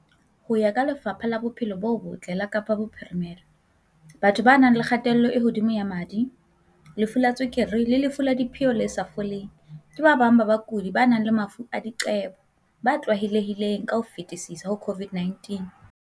Ho ya ka Lefapha la Bophelo bo Botle la Kapa Bophirime-la, batho ba nang le kgatello e hodimo ya madi, lefu la tswe-kere le lefu la diphio le sa foleng, ke ba bang ba bakudi ba nang le mafu a diqebo ba tlwaelehileng ka ho fetisisa ho COVID-19.